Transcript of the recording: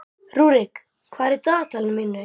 Rúrik, hvað er á dagatalinu mínu í dag?